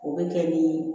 O bɛ kɛ ni